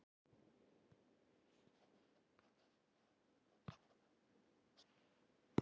Manfred